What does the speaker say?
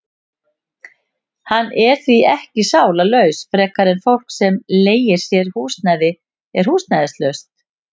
Hann er því ekki sálarlaus frekar en fólk sem leigir sér húsnæði er húsnæðislaust.